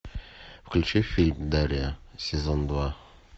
включи фильм дарья сезон два